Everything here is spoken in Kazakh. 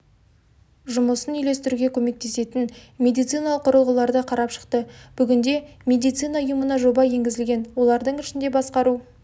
жұмысын үйлестіруге көмектесетін медициналық құрылғыларды қарап шықты бүгінде медицина ұйымына жоба енгізілген олардың ішінде басқару